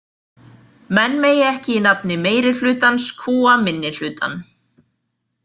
Menn megi ekki í nafni meiri hlutans kúga minni hlutann.